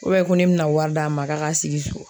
ko ne bɛna wari d'a ma k'a ka sigi so